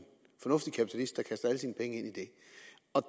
penge ind i det